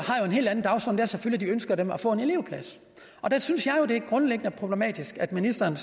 en helt anden dagsorden og selvfølgelig et ønske om at få en elevplads der synes jeg jo det grundlæggende er problematisk at ministeren